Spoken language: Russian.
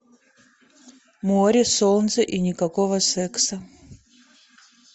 море солнце и никакого секса